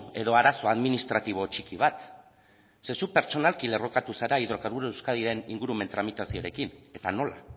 edo arazo administratibo txiki bat zeren zuk pertsonalki lerrokatu zara hidrokarburo euskadiren ingurumen tramitazioarekin eta nola